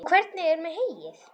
Og hvernig er með heyið?